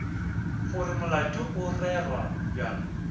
gore molato o rerwa bjang